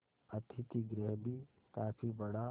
अतिथिगृह भी काफी बड़ा